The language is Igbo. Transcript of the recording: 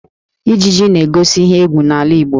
Ijiji na-egosi ihe égwú n'ala Igbo